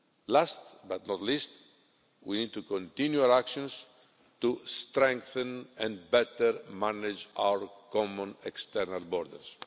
Last but not least, we need to continue our actions to strengthen and better manage our common external borders.